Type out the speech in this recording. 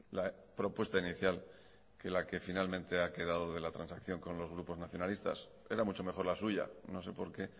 la propuesta inicial que la que finalmente ha quedado de la transacción con los grupos nacionalistas era mucho mejor la suya no sé por qué